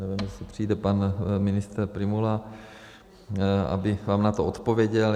Nevím, jestli přijde pan ministr Prymula, aby vám na to odpověděl.